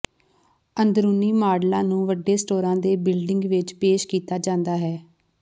ਅੰਦਰੂਨੀ ਮਾਡਲਾਂ ਨੂੰ ਵੱਡੇ ਸਟੋਰਾਂ ਦੇ ਬਿਲਡਿੰਗ ਵਿੱਚ ਪੇਸ਼ ਕੀਤਾ ਜਾਂਦਾ ਹੈ